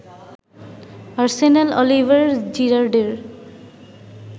Arsenal Oliver জিরার্ডের